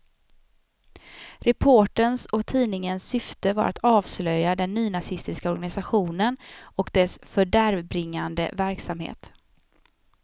Reporterns och tidningens syfte var att avslöja den nynazistiska organisationen och dess fördärvbringande verksamhet.